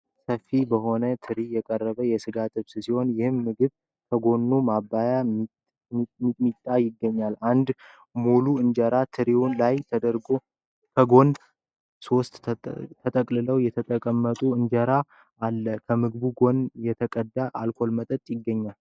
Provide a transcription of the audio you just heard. ሰፊ በሆነ ትሪ የቀረበ የስጋ ጥብስ ሲሆን ይህ ምግብ ከጎኑ ማባያ ሚጥሚጣ ይገኛል። አንድ ሙሉ እንጀራ ትሪዉ ላይ ተደርጎ ከጎን ደግሞ ሦስት ተጠቅለዉ የተቀመጡ ቁርጥ እንጀራ አለ። ከምግቡ ጎን የተቀዳ የአልኮል መጠጥ ይገኛል።